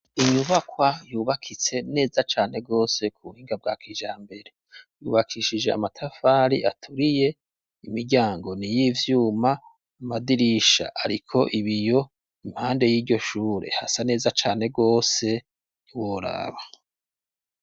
Inyubakwa yubakitse neza cane gose ku buhinga bwa kijambere. Yubakishije Amatafari aturiye, Imiryango ni y'Ivyuma Amadirisha ariko ibiyo, impande y'iryoshure hasa neza cane, gose ntiworaba.